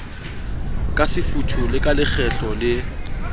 kasefuthu le ka lekgetlo le